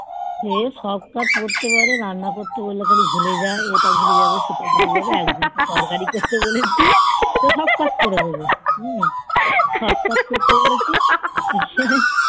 সে সব কাজ করতে পারে রান্না করতে বললে খালি ভুলে যায় এটা ভুলে যাবে সেটা ভুলে যাবে আর যদি একটু তরকারি করতে বলি সব কাজ করে দেবে সব কাজ করতে বলেছি